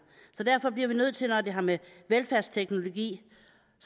så derfor bliver vi nødt til når det har med velfærdsteknologi